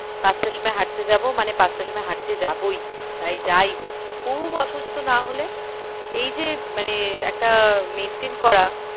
পাঁচটা সময় হাঁটতে যাবো মানে পাঁচটার সময় হাঁটতে যাবোই। তাই যাই হোক খুব অসুস্থ না হলে এই যে মানে একটা maintain করা